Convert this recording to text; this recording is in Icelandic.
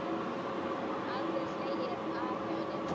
Aldrei slegið af hjá henni.